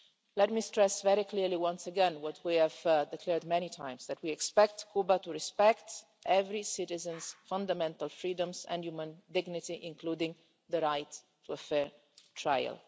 Let me stress very clearly once again what we have declared many times that we expect Cuba to respect every citizen's fundamental freedoms and human dignity, including the right to a fair trial.